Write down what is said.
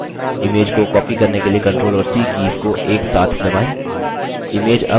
image को copy करने के लिए ctrl और c कीज़ को एक साथ दबाएँ